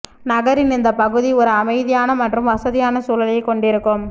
நகரின் இந்த பகுதி ஒரு அமைதியான மற்றும் வசதியான சூழலைக் கொண்டிருக்கும்